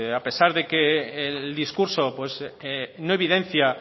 a pesar de que el discurso no evidencia